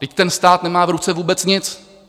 Vždyť ten stát nemá v ruce vůbec nic.